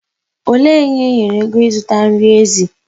Olee onye enyere ego ịzụta nri ezi?